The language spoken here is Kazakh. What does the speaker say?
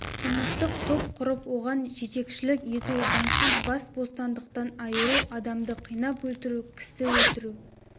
қылмыстық топ құрып оған жетекшілік ету заңсыз бас бостандықтан айыру адамды қинап өлтіру кісі өлтіру